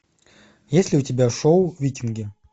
есть ли у тебя шоу викинги